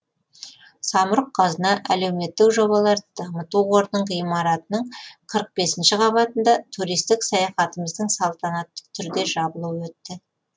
самұрық қазына әлеуметтік жобаларды дамыту қорының ғимаратының қырық бесінші қабатында туристік саяхатымыздың салтанатты түрде жабылуы өтті